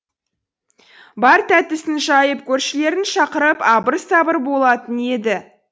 бар тәттісін жайып көршілерін шақырып абыр сабыр болатын еді